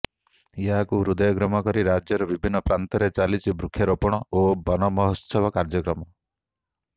ଏହାକୁ ହୃଦୟଙ୍ଗମକରି ରାଜ୍ୟର ବିଭିନ୍ନ ପ୍ରାନ୍ତରେ ଚାଲିଛି ବୃକ୍ଷ ରୋପଣ ଓ ବନମହୋତ୍ସବ କାର୍ଯ୍ୟକ୍ରମ